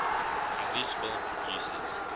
english film producers